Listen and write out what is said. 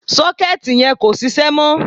Sọ́kẹ́ẹ̀tì yẹn kò sisẹ́ mọ́.